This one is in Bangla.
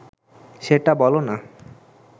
সেটা বল না